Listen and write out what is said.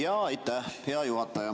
Aitäh, hea juhataja!